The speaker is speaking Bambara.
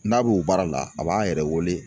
N'a b'o baara la a b'an yɛrɛ wele